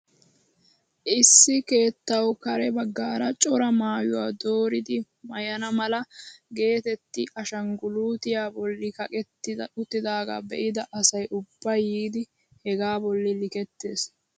Issi keettawu kare baggaara cora maayuwaa dooridi maayana mala getetti ashangulutyaa bolli kaqetti uttidagaa be'ida asay ubbay yiidi hegaa bolli likettees!